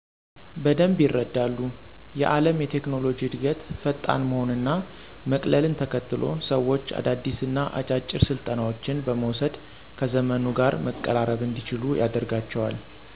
በደንብ ይረዳሉ። የአለም የቴክኖሎጂ እድገት ፈጣን መሆን እና መቅልን ተከትሎ ሰዎች አዳዲስ እና አጫጭር ስልጠናዎችን በመውስድ ከዘመኑ ጋር መቀራረብ እንዲችሉ ያደርጋቸዋል።